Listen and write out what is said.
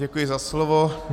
Děkuji za slovo.